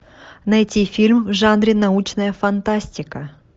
найти фильм в жанре научная фантастика